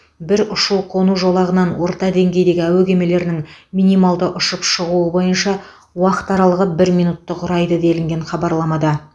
бір ұшу қону жолағынан орта деңгейдегі әуе кемелерінің минималды ұшып шығу бойынша уақыт аралығы бір минутты құрайды делінген хабарламада